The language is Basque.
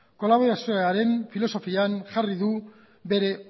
kolaborazioaren filosofian jarri du bere